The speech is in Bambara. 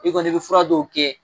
I kɔni i be fura dɔw kɛ